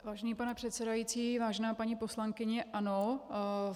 Vážený pane předsedající, vážená paní poslankyně, ano.